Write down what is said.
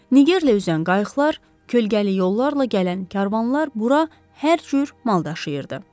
Nigerlə üzən qayıqlar, kölgəli yollarla gələn karvanlar bura hər cür mal daşıyırdı.